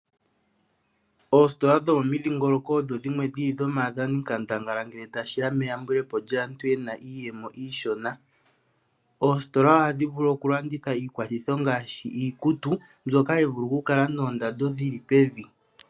Oositola dhomomidhingoloko odho dhimwe dhi li dho maadhani nkandangala ngele tashiya meyambulepo lyaantu yena iiyemo iishona. Oositola ohadhi vulu okulanditha iilwathitho ngaashi iikutu mbyoka hayi vulu okukala noondando dhi li pevi.